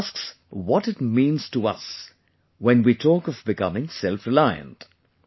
He asks what it means to us when we talk of becoming selfreliant